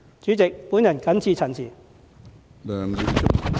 主席，我謹此陳辭。